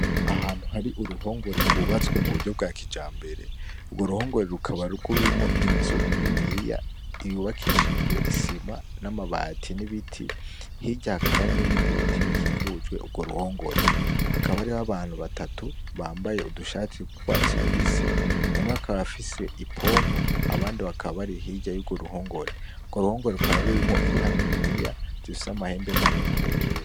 Ahantu hari uruhongore gwubatswe m'uburyo bwakijambere, ugo ruhongore rukaba rurimwo inzu niniya yubakishijwe isima ,n'amabati, n'ibiti, hirya hakaba hari n'ibindi biti bikikujwe ugo ruhongore, hakaba hariho abantu batatu bambaye udushati tw'urwatsi rubisi ,umwe akaba afise ipompo abandi bakaba bari hirya y'ugo ruhongore, ugo ruhongore rukaba rurimwo inka niniya zifisa amabara amahembe maremare yera.